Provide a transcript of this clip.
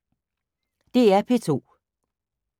DR P2